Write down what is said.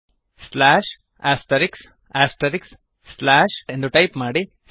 slash asterisks asterisks slash ಎಂದು type ಮಾಡಿ